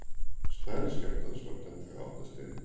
stærð skjálftans var tæplega átta stig